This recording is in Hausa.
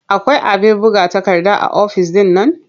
Akwai abin buga takarda a ofis ɗin nan?